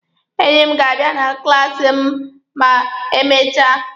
Enyi m ga-abịa na klaasi m ma emechaa.